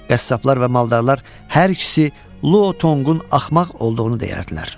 Qəssablar və maldarlar hər ikisi Luo Tonqun axmaq olduğunu deyərdilər.